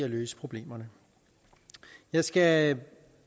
at løse problemerne jeg skal